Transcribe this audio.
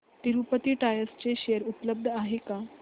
Tirupati tyres चे share उपलब्ध आहेत का